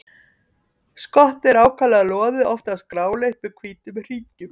Skottið er ákaflega loðið, oftast gráleitt með hvítum hringjum.